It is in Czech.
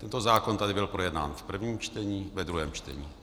Tento zákon tady byl projednán v prvním čtení, ve druhém čtení.